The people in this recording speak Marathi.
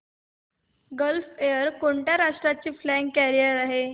गल्फ एअर कोणत्या राष्ट्राची फ्लॅग कॅरियर आहे